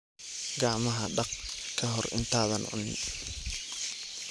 Gacmaha dhaq ka hor intaadan cunin.